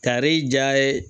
Kari ja ye